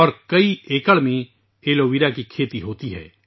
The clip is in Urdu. اور کئی ایکڑ میں ایلو ویرا کی کاشت کی جاتی ہے